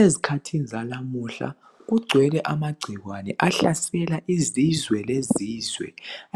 Ezikhathini zalamuhla kugcwele amagcikwane ahlasela izizwe lezizwe